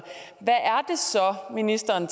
ministeren